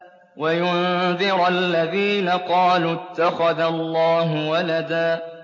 وَيُنذِرَ الَّذِينَ قَالُوا اتَّخَذَ اللَّهُ وَلَدًا